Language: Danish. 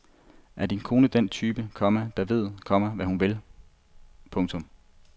Er din kone den type, komma der ved, komma hvad hun vil. punktum